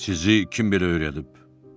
Sizi kim belə öyrədib?